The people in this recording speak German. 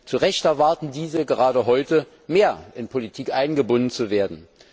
Zu Recht erwarten diese gerade heute, mehr in Politik eingebunden zu werden.